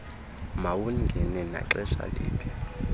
mawungene naxesha liphi